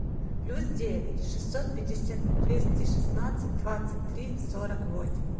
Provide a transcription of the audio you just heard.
плюс девять шестьсот пятьдесят двести шестнадцать двадцать три сорок восемь